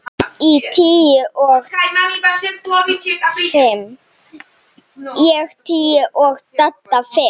Ég tíu og Dadda fimm.